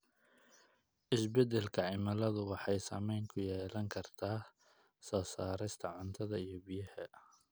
Isbedelka cimiladu wuxuu saameyn ku yeelan karaa soo saarista cuntada iyo biyaha.